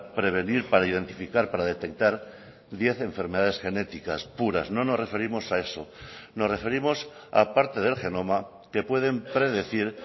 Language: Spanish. prevenir para identificar para detectar diez enfermedades genéticas puras no nos referimos a eso nos referimos a parte del genoma que pueden predecir